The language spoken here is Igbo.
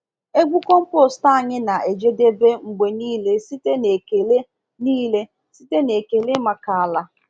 Egwu compost anyị na-ejedebe mgbe niile site n'ekele niile site n'ekele maka ala.